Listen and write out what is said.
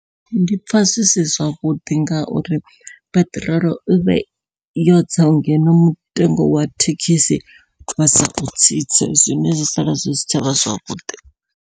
Ndi pfha zwi si zwavhuḓi ngauri peṱirolo i vhe yotsa ngeno mutengo wa thekhisi vha sa u tsitse zwine zwi sala zwi si tshavha zwavhuḓi.